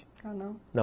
Ah, não? não.